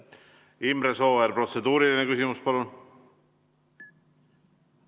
Imre Sooäär, protseduuriline küsimus, palun!